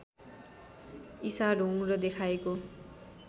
ईसा ढोंग र देखाएको